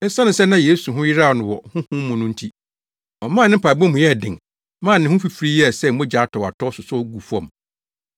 Esiane sɛ na Yesu ho yeraw no wɔ Honhom mu no nti, ɔmaa ne mpaebɔ mu yɛɛ den maa ne ho fifiri yɛɛ sɛ mogya atɔwatɔw sosɔ guu fam.